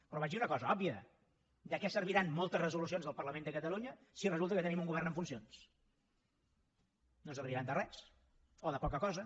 però vaig dir una cosa òbvia de què serviran moltes resolucions del parlament de catalunya si resulta que tenim un govern en funcions no serviran de res o de poca cosa